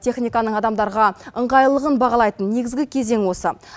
техниканың адамдарға ыңғайлылығын бағалайтын негізгі кезең осы